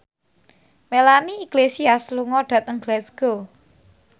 Melanie Iglesias lunga dhateng Glasgow